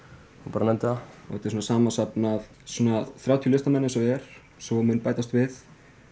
bara nefndu það þetta er samansafn af þrjátíu listamönnum eins og er svo mun bætast við